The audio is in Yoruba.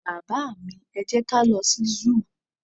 baba mi, e jẹ ka lo sí zoo